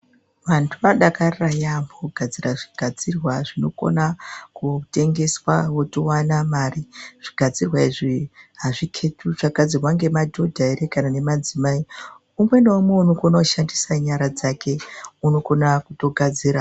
Vantu vanodakarira yambo kugadzira zvinogadzirwa zvinokona kutengeswa wotowana mari. Zvigadzirwa izvi hazviketwi kuti zvakagadzirwa ngemadhodha here kana nemadzimai umwe naumwe unokona kushandisa nyara dzake unokona kutogadzira .